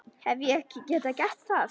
Hef ég ekki gert það?